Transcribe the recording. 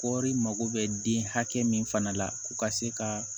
Kɔɔri mago bɛ den hakɛ min fana la ko ka se ka